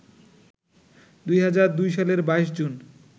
২০০২ সালের ২২ জুন